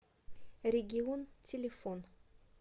регион телефон